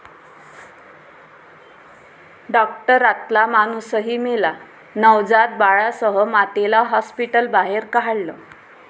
डाॅक्टरातला माणूसही मेला, नवजात बाळासह मातेला हाॅस्पिटलबाहेर काढलं